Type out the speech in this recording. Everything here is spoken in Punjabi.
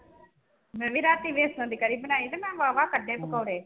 ਮੈਂ ਵੀ ਰਾਤੀ ਬੇਸਣ ਦੀ ਕੜੀ ਬਣਾਈ ਤੇ ਮੈਂ ਬਾਵਾ ਕੱਢੇ ਪਕੋੜੇ।